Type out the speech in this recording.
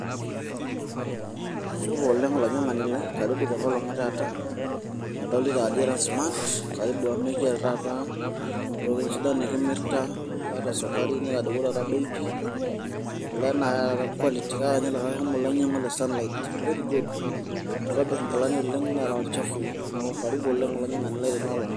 Supa oleng' olainyang'ani lai. Karibu tenkolong' etaata. Kadolita ajo ira smart. Karibu amu ekiata taata, ntokiting' sidan nikimirita. Aata sukari, netadowuo taata bei pi. Ele na kaata quality ,kaata nye likae omo lainyang'ua le sunlight, very good. Kitobirr inkilani oleng' neraa ilchafuii. Neeku karibu olainyang'ani lai tenoolong'.